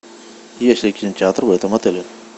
есть ли кинотеатр в этом отеле